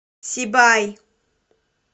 сибай